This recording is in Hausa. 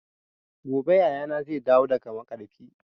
Gobe yayana zai dawo daga maƙarfi